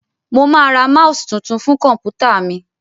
Mo máa ra mouse tuntun fún kọ̀m̀pútà mi.